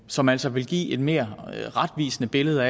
som altså vil give et mere retvisende billede